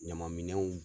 Ɲamanminɛnw